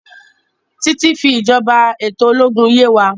Titi fi ìjọba eto ológun yè wá.